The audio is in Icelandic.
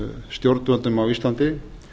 stjórnvöldum á íslandi